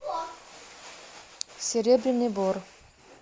серебряный бор